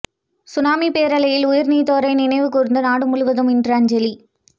சுனாமிப் பேரலையில் உயிர்நீத்தோரை நினைவு கூர்ந்து நாடு முழுவதும் இன்று அஞ்சலி